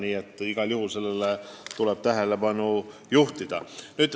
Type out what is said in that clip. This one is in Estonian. Nii et igal juhul sellele tuleb tähelepanu pöörata.